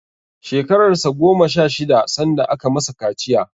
Shekarar sa goma sha shida sanda aka masa kaciya.